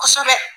Kosɛbɛ